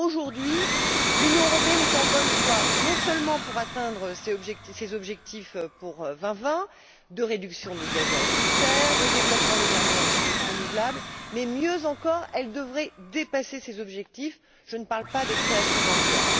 Or, aujourd'hui, l'Union européenne est en bonne voie, non seulement pour atteindre ces objectifs pour 2020 en matière de réduction de gaz à effet de serre et de développement des énergies renouvelables mais, mieux encore, elle devrait dépasser ces objectifs je ne parle pas des créations d'emplois.